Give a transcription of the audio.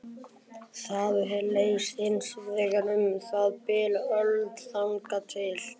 Það leið hins vegar um það bil öld þangað til